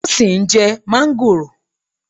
Tósìn ń jẹ́ máńgòrò.